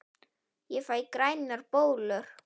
Ég fæ grænar bólur!